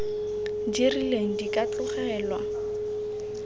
di rileng di ka tlogelwa